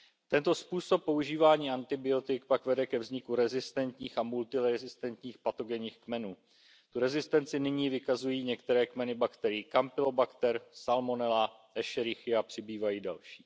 Tento způsob používání antibiotik pak vede ke vzniku rezistentních a multirezistentních patogenních kmenů. Tu rezistenci nyní vykazují některé kmeny bakterií Campylobacter, Salmonella i Escherichia a přibývají další.